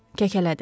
Kəkələdi.